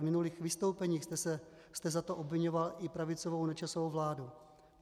V minulých vystoupeních jste za to obviňoval i pravicovou Nečasovu vládu.